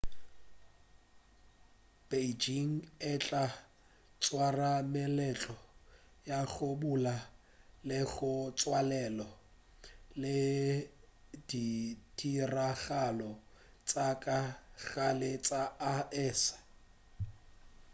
beijing e tla swara meletlo ya go bula le go tswalela le ditiragalo tša ka gare tša aese